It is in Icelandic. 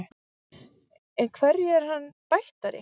En hverju er hann bættari?